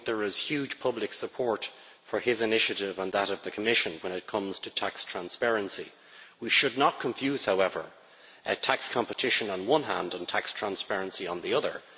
I think there is huge public support for his initiative and that of the Commission when it comes to tax transparency. We should not, however, confuse tax competition on the one hand and tax transparency on the other.